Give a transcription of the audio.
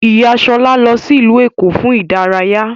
Ìyá Ṣọlá lọ sí ìlú Èkó fún ìdárayá